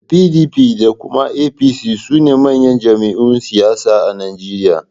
Da PDP da kuma APC sune manyan jam'iyun siyasa a Nijeriya